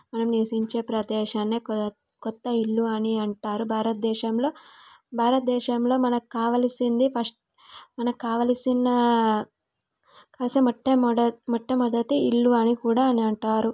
మనం నివాసించే ప్రదేశానే కొ కొత్త ఇల్లు అని అంటారు భారతదేశంలో భారతదేశంలో మనకు కావలసింది ఫస్ట్ మనకు కావలసినా మొట్ట మొట్ట మొట్టమొదటి ఇల్లు అని కూడా అంటారు.